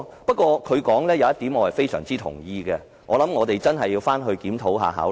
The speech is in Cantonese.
不過，他說的一點我非常同意，我想我們真的要好好檢討和考慮。